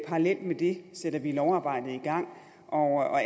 parallelt med det sætter vi lovarbejdet i gang og